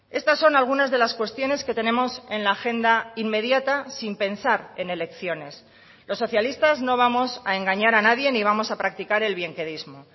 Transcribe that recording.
estas son algunas de las cuestiones que tenemos en la agenda inmediata sin pensar en elecciones los socialistas no vamos a engañar a nadie ni vamos a practicar el bienquedismo